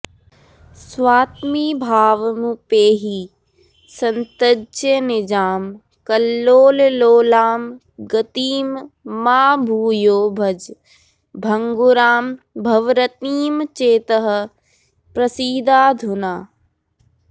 स्वात्मीभावमुपैहि संत्यज निजां कल्लोललोलां गतिं मा भूयो भज भङ्गुरां भवरतिं चेतः प्रसीदाधुना